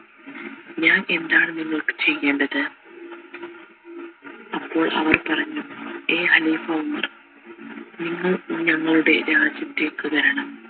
ഞാൻ എന്താണ് നിങ്ങൾക്ക് ചെയ്യേണ്ടത് അപ്പോൾ അവർ പറഞ്ഞു എ ഖലീഫ ഉമർ നിങ്ങൾ ഞങ്ങളുടെ രാജ്യത്തേക് വരണം